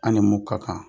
An ni mun ka kan